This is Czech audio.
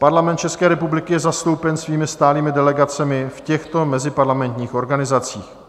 Parlament České republiky je zastoupen svými stálými delegacemi v těchto meziparlamentních organizacích: